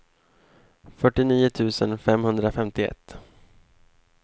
fyrtionio tusen femhundrafemtioett